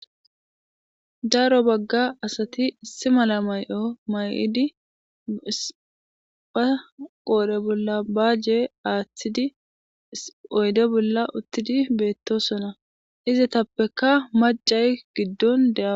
Daro Baga asat issi mala mayo mayid ba qodhe bolla baje athid oyde bolla utid betosona , izetappeka macay gido de'awus .